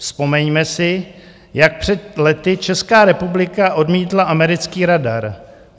Vzpomeňme si, jak před lety Česká republika odmítla americký radar.